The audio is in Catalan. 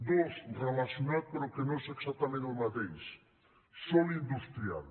dos relacionat però que no és exactament el mateix sòl industrial